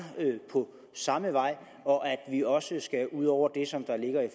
på samme vej og at vi også skal ud over det som